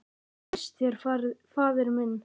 Hvað líst þér, faðir minn?